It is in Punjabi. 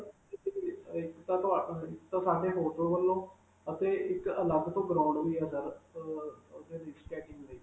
ਇਕ ਤਾਂ ਇਕ ਤਾਂ ਸਾਡੇ hotel ਵਲੋਂ ਅਤੇ ਇਕ ਅਲਗ ਤੋਂ ground ਵੀ ਹੈ sir ਅਅ ਓਹਦੇ ਲਈ skating ਲਈ.